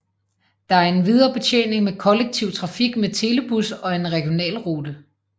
Der er endvidere betjening med kollektivtrafik med telebus og en regionalrute